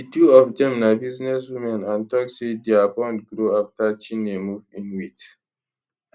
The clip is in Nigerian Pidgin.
di two of dem na businesswomen and tok say dia bond grow afta chinne move in wit